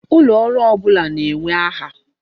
Ulooru ọbụla na-enwe aha.